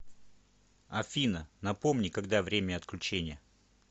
афина напомни когда время отключения